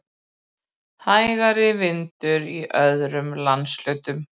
Hægari vindur í öðrum landshlutum